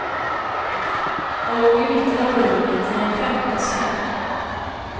Han låg i mitten av rummet i en femte säng.